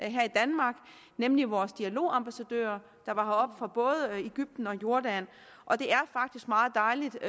her i danmark nemlig vores dialogambassadører der var heroppe fra både egypten og jordan og det er faktisk meget dejligt